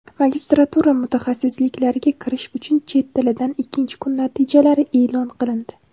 Magistratura mutaxassisliklariga kirish uchun chet tilidan ikkinchi kun natijalari e’lon qilindi.